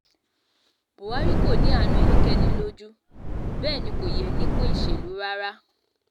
buhari kò ní àánú ẹnikẹ́ni lójú bẹ́ẹ̀ ni kò yẹ nípò ìṣèlú rárá